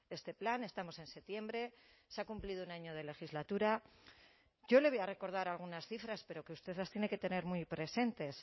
este plan estamos en septiembre se ha cumplido un año de legislatura yo le voy a recordar algunas cifras pero que usted las tiene que tener muy presentes